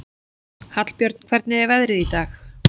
Hallbjörn, hvernig er veðrið í dag?